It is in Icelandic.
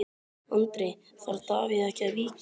Andri: Þarf Davíð ekki að víkja?